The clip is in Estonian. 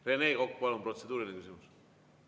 Rene Kokk, palun, protseduuriline küsimus!